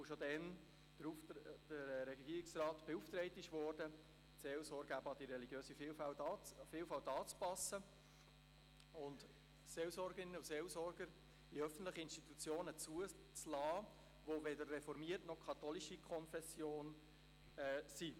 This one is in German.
Schon damals wurde der Regierungsrat beauftragt, die Seelsorge an die religiöse Vielfalt anzupassen und Seelsorgerinnen und Seelsorger in öffentlichen Institutionen zuzulassen, die weder reformierter, noch katholischer Konfession sind.